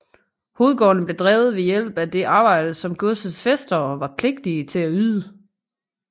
Hovedgårdene blev drevet ved hjælp af det arbejde som godsets fæstere var pligtige til at yde